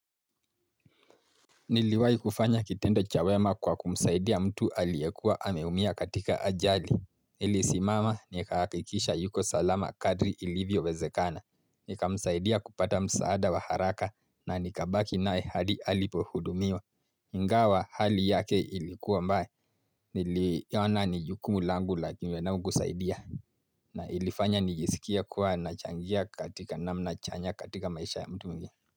Niliwahi kufanya kitendo cha wema kwa kumsaidia mtu aliyekua ameumia katika ajali. Nili simama ni hakakikisha yuko salama kadri ilivyo wezekana. Nika msaidia kupata msaada wa haraka na nikabaki naye hadi alipo hudumiwa. Inga wa hali yake ilikuwa mbaya. Niliona ni jukumu langu lakinwe na kusaidia. Na ilifanya nijisikia kuwa nachangia katika namna chanya katika maisha ya mtu mwingine.